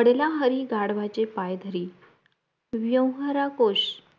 आडला हरी गाढवाचे पाय धरी व्यवहाराकोश कोष